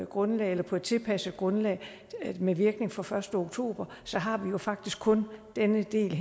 grundlag eller på et tilpasset grundlag med virkning fra den første oktober så har vi jo faktisk kun den her del